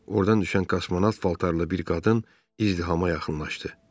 Ordan düşən kosmonavt paltarlı bir qadın izdihama yaxınlaşdı.